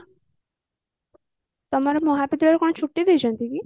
ତମର ମହାବିଦ୍ୟାଳୟ କଣ ଛୁଟି ଦେଇଛନ୍ତି କି